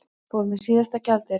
Fór með síðasta gjaldeyrinn